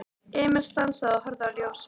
Emil stansaði og horfði á Jósa.